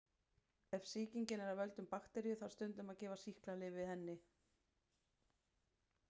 Ef sýkingin er af völdum bakteríu þarf stundum að gefa sýklalyf við henni.